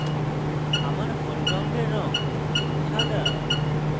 আমার foreground রঙ সাদা